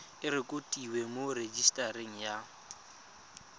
e rekotiwe mo rejisetareng ya